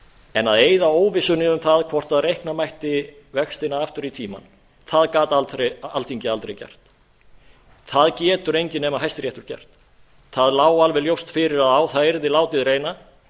en að eyða óvissunni um það hvort reikna mætti vextina aftur í tímann það gat alþingi aldrei gert það getur enginn nema hæstiréttur gert það lá alveg ljóst fyrir að á það yrði látið reyna